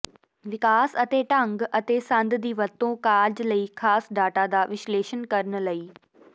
ਵਿਕਾਸ ਅਤੇ ਢੰਗ ਅਤੇ ਸੰਦ ਦੀ ਵਰਤੋ ਕਾਰਜ ਲਈ ਖਾਸ ਡਾਟਾ ਦਾ ਵਿਸ਼ਲੇਸ਼ਣ ਕਰਨ ਲਈ